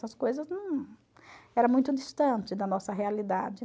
Essas coisas era muito distantes da nossa realidade.